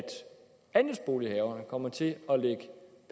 komme til at lægge